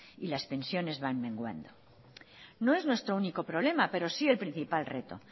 y las pensiones van menguando no es nuestro único problema pero sí el principal reto